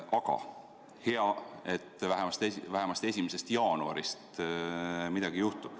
Aga hea, et vähemasti 1. jaanuarist midagi juhtub.